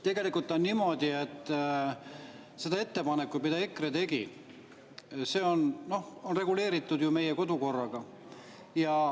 Tegelikult on niimoodi, et see ettepanek, mille EKRE tegi, on reguleeritud meie kodukorras.